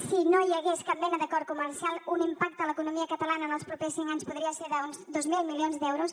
si no hi hagués cap mena d’acord comercial un impacte a l’economia catalana en els propers cinc anys podria ser d’uns dos mil milions d’euros